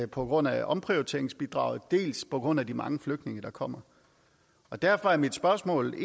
på grund af omprioriteringsbidraget dels på grund af de mange flygtninge der kommer derfor er mit spørgsmål